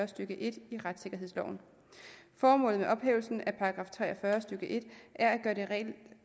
stykke en i retssikkerhedsloven formålet med ophævelsen af § tre og fyrre stykke en er at